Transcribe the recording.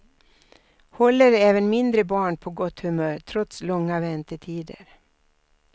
Håller även mindre barn på gott humör trots långa väntetider.